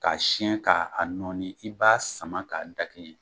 K'a siyɛn k'a a nɔni i b'a sama k'a dakɛɲɛ